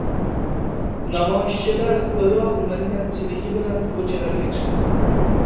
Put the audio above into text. Namoyishchilar Iroq millatchiligi bilan ko‘chalarga chiqqan.